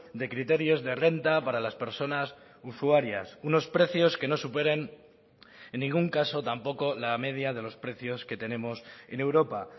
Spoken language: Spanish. de criterios de renta para las personas usuarias unos precios que no superen en ningún caso tampoco la media de los precios que tenemos en europa